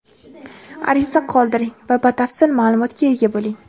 Ariza qoldiring va batafsil maʼlumotga ega bo‘ling!.